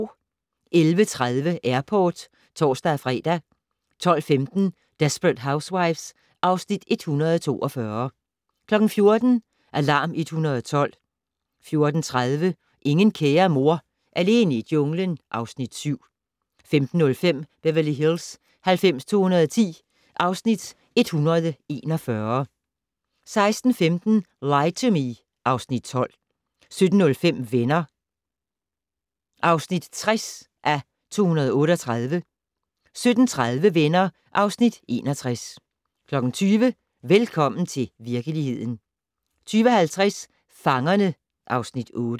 11:30: Airport (tor-fre) 12:15: Desperate Housewives (Afs. 142) 14:00: Alarm 112 14:30: Ingen kære mor - alene i junglen (Afs. 7) 15:05: Beverly Hills 90210 (Afs. 141) 16:15: Lie to Me (Afs. 12) 17:05: Venner (60:238) 17:30: Venner (Afs. 61) 20:00: Velkommen til virkeligheden 20:50: Fangerne (Afs. 8)